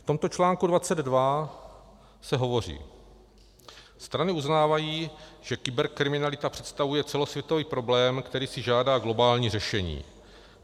V tomto článku 22 se hovoří: "Strany uznávají, že kyberkriminalita představuje celosvětový problém, který si žádá globální řešení.